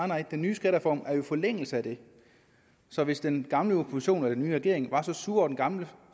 nej den nye skattereform ligger jo i forlængelse af det så hvis den gamle oppositionen og den nye regering var så sure over den gamle